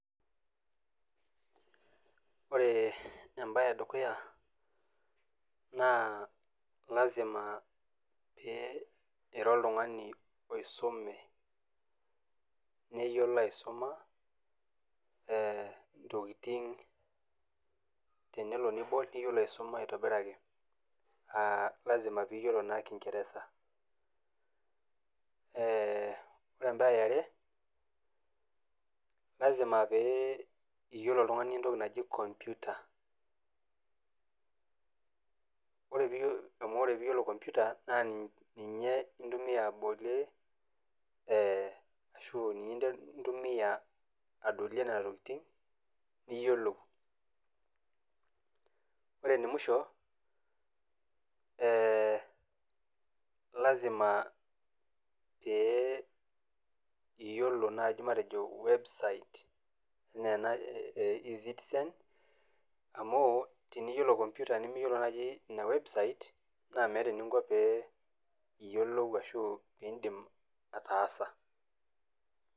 Ore embaye e dukuya naa lazima pee ira oltung'ani oisume, neyiolo aisuma intokitin. Tenelo nibol niyiolo aisuma aitobiraki, lazima naa niyiolo kingerereza. Ore embaye e are, lazima pee iyiolo oltung'ani entoki naji kompyuta, amu ore pee iyiolo kompyuta na ninye intumiya adolie nena tokitin niyiolou. Ore ene musho naa lazma pee iyiolo naaji matejo website, anaa ena e eCitizen, amu teniyiolo naaji imbaa e kompyuta nimiyiolo naaji ina website naa meata eninko pee iyiolou ashu pee indim ataasa.